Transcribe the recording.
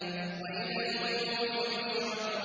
وَإِذَا الْوُحُوشُ حُشِرَتْ